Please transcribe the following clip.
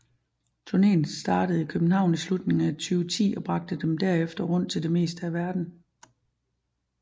Turnéen startede i København i slutningen af 2010 og bragte dem derefter rundt til det meste af verden